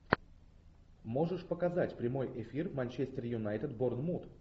можешь показать прямой эфир манчестер юнайтед борнмут